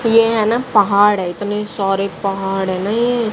ये है ना पहाड़ है इतने सारे पहाड़ हैं न ये--